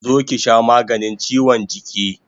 Zo ki sha maganin chiwon jiki!